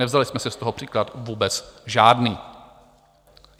Nevzali jsme si z toho příklad vůbec žádný.